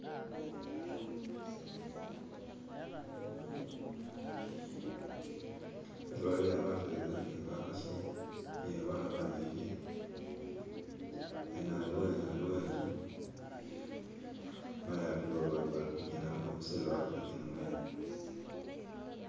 Baliha baseza ni bakasi ni babana bajeche hene haliwo inzu mayi alikuba babali kuchina bakusilila batu bachina mwenya